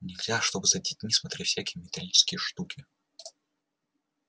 нельзя чтобы за детьми смотрели всякие металлические штуки